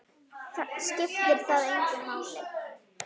Skiptir það þig engu máli?